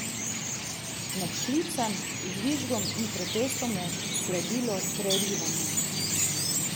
Medklicem, žvižgom in protestom je sledilo prerivanje.